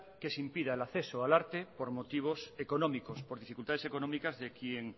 que se impida el acceso al arte por motivos económicos por dificultades económicas de quien